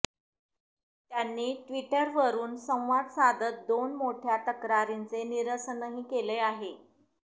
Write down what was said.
त्यांनी ट्विटरवरून संवाद साधत दोन मोठ्या तक्रारींचे निरसनही केले आहे